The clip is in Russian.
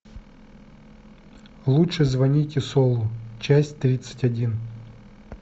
лучше звоните солу часть тридцать один